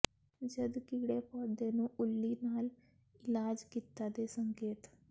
ਜਦ ਕੀੜੇ ਪੌਦੇ ਨੂੰ ਉੱਲੀ ਨਾਲ ਇਲਾਜ ਕੀਤਾ ਦੇ ਸੰਕੇਤ